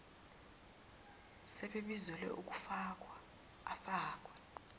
sebebizelwe ukuhlungwa abfake